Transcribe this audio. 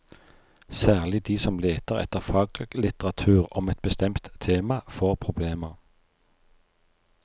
Særlig de som leter etter faglitteratur om et bestemt tema, får problemer.